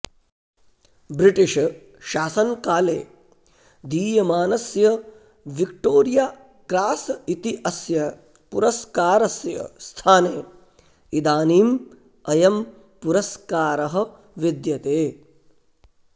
ब्रिटिशशासनकाले दीयमानस्य Victoria Cross इति अस्य पुरस्कारस्य स्थाने इदानीम् अयं पुरस्कारः विद्यते